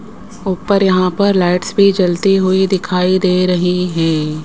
ऊपर यहां पर लाइट्स भी जलती हुई दिखाई दे रही है।